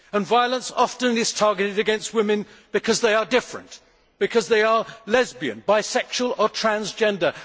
Violence is often targeted against women because they are different because they are lesbian, bisexual or transgender.